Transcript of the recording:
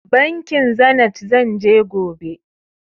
Bankin Zenit zan je gobe.